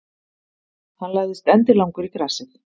Hann lagðist endilangur í grasið.